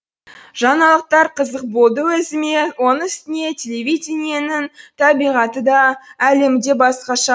жаңалықтар қызық болды өзіме оның үстіне телевидениенің табиғаты да әлемі де басқаша